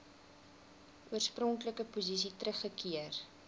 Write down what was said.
oorspronklike posisie teruggekeer